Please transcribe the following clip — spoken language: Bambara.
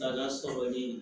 Taga sɔrɔ ni